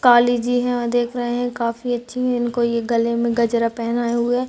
काली जी है और देख रहे है काफी अच्छी इनको ये गले में गजरा पहनाए हुए --